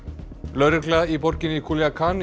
lögregla í borginni